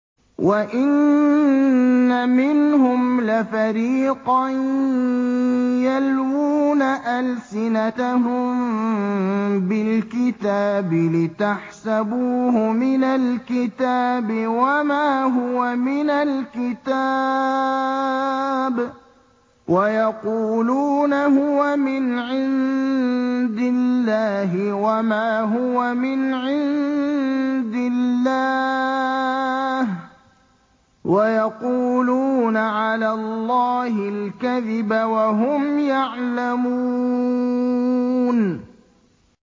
وَإِنَّ مِنْهُمْ لَفَرِيقًا يَلْوُونَ أَلْسِنَتَهُم بِالْكِتَابِ لِتَحْسَبُوهُ مِنَ الْكِتَابِ وَمَا هُوَ مِنَ الْكِتَابِ وَيَقُولُونَ هُوَ مِنْ عِندِ اللَّهِ وَمَا هُوَ مِنْ عِندِ اللَّهِ وَيَقُولُونَ عَلَى اللَّهِ الْكَذِبَ وَهُمْ يَعْلَمُونَ